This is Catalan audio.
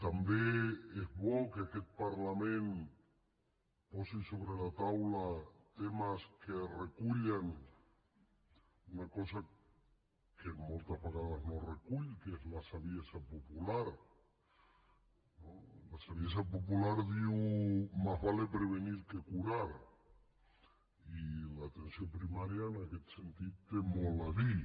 també és bo que aquest parlament posi sobre la taula temes que recullen una cosa que moltes vegades no es recull que és la saviesa popular no la saviesa popular diu más vale prevenir que curar i l’atenció primària en aquest sentit hi té molt a dir